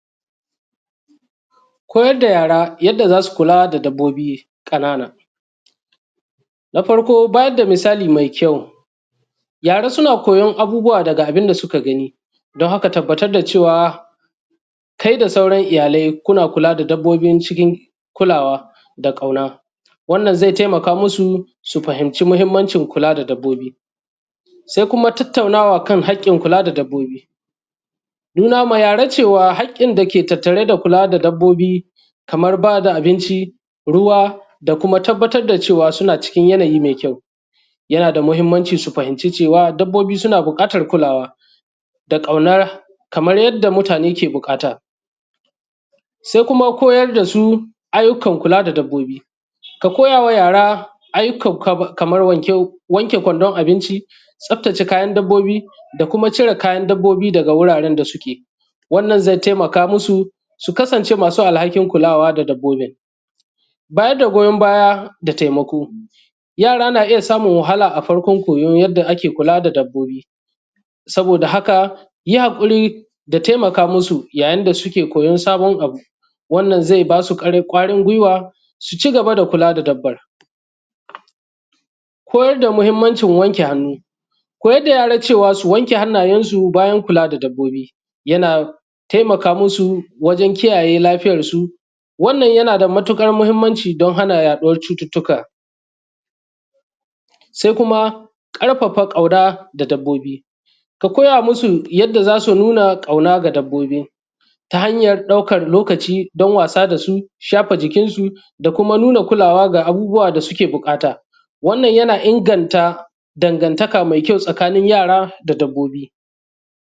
Koyar da yara yadda za su kula da dabbobi ƙanana. Na farko bayar da misali mai kyau, yara suna koyan abubuwa daga abun da suka gani, don haka tabbatar da cewa kai da sauran iyalai kuna kula da dabbobin cikin kulawa da ƙauna, wannan zai taimaka musu su fahimci muhimmanci kula da dabbobi. Sai kuma tattaunawa kan haƙƙin kula da dabbobi. Nuna ma yara cewa haƙƙin dake tattare da kula da dabbobi kamar ba da abinci, ruwa da kuma tabbatar da cewa suna ckin yanayi mai kyau, yana da muhimmanci su fahimci cewa dabbobi suna buƙatar kulawa da ƙauna kamar yadda mutane ke buƙata. Sai kuma koyar da su ayyukan kula da dabbobi. Ka koya wa yara ayyuka kaman wanke kwandon abinci, tsaftace kayan dabbobi, da kuma cire kayan dabbobi daga wuraren da suke. Wannan zai taimaka musu su kasance masu alhakin kulawa da dabbobin. Bayar da goyon baya da taimako. Yara na iya samun wahala a farkon koyon yadda ake kula da dabbobi, saboda haka, kuyi haƙuri da taimaka musu yayin da suke koyan sabon abu’ wannan zai ba su ƙwarin guiwa su cigaba da kula da dabban. Koyar da muhimmanci wanke hannu. Koyar da yara cewa su wanke hannayen su bayan kula da dabbobi yana taimaka musu wajen kiyaye lafiyar su. Wannan yana da matuƙar muhimmanci don hana yaɗuwar cututtuka. Sai kuma ƙarfafa ƙauna da dabbobi. Ka koya musu yadda za su nuna ƙauna ga dabbobi, ta hanyan ɗaukan lokaci ɗan wasa da su, shafa jikinsu, da kuma nuna kulawa ga abubuwa da suke buƙata. Wannan yana inganta dangantaka mai kyau tsakanin yara da dabbobi.